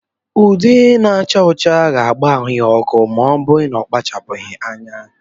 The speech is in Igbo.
Ude na-acha ọcha ga-agba ahụ ya ọkụ ma ọ kpachaghi anya.